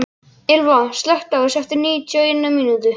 Ylva, slökktu á þessu eftir níutíu og eina mínútur.